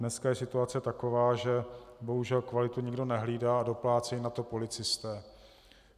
Dneska je situace taková, že bohužel kvalitu nikdo nehlídá a doplácejí na to policisté.